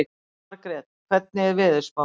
Margrét, hvernig er veðurspáin?